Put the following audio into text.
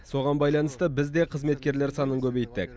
соған байланысты біз де қызметкерлер санын көбейттік